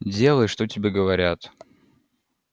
делай что тебе говорят